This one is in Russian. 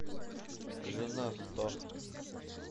жена сто